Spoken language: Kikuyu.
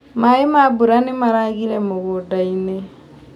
Maĩ ma mbura nĩmaragire mũgundainĩ.